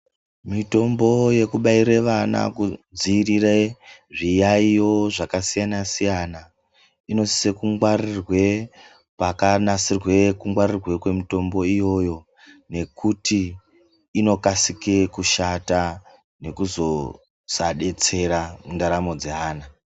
Mitombo yekubaiire vana kudziirire zviyaiyo zvakasiyana-siyana, inosise kungwarirwe kwakanasirwe kungwarirwe kwemitombo iyoyo, nekuti inokasike kushata nekuzoosadetsera mundaramo dzeana.